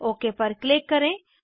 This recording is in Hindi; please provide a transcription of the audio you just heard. ओक पर क्लिक करें